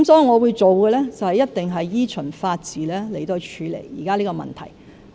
我會做的事情，必定是依循法治處理現時的問題。